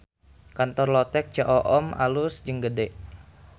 Kantor Lotek Ceu Oom alus jeung gede